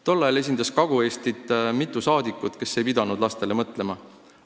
Tol ajal esindas Kagu-Eestit mitu rahvasaadikut, kes ei pidanud lastele mõtlema.